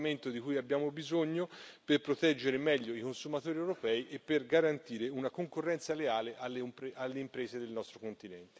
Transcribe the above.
È un regolamento di cui abbiamo bisogno per proteggere meglio i consumatori europei e per garantire una concorrenza leale alle imprese del nostro continente.